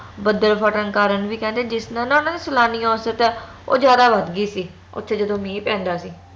ਬੱਦਲ ਫਟਣ ਕਾਰਨ ਵੀ ਕਹਿੰਦੇ ਜਿਸ ਨਾਲ ਉਹਨਾਂ ਨੂੰ ਸਲਾਨੀ ਔਸਤ ਓ ਜਾਦਾ ਵੱਧ ਗਈ ਸੀ ਓਥੇ ਜਦੋ ਮੀਂਹ ਪੈਂਦਾ ਸੀ